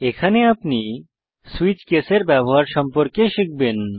এখানে আপনি switch case এর ব্যবহার সম্পর্কে শিখবেন